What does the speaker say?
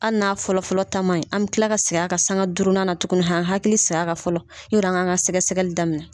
Ali n'a fɔlɔfɔlɔ ta man ɲi, an be kila ka segin a kan sanga durunnan na tuguni han hakili saya ka fɔlɔ yara an kan ka sɛgɛsɛgɛli daminɛ.